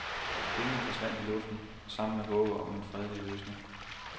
Pengene forsvandt i luften sammen med håbet om en fredelig løsning.